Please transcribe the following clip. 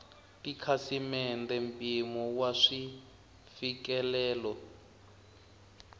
tikhasimende mpimo wa sweswi mfikelelo